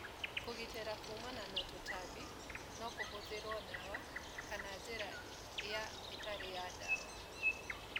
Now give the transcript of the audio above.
Kũgitĩra kuumana na tũtambi nokũhũthĩrwo dawa kana njĩra ya ĩtarĩya dawa.